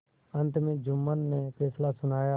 अंत में जुम्मन ने फैसला सुनाया